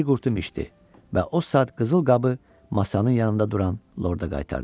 Bir qurtum içdi və o saat qızıl qabı masanın yanında duran lorda qaytardı.